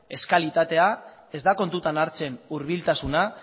kalitatea ez da kontutan hartzen hurbiltasuna